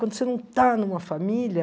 Quando você não está numa família...